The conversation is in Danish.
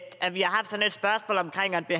det